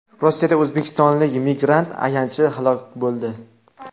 Rossiyada o‘zbekistonlik migrant ayanchli halok bo‘ldi.